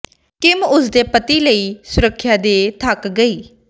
Kim ਉਸ ਦੇ ਪਤੀ ਲਈ ਸੁੱਰਖਿਆ ਦੇ ਥੱਕ ਗਈ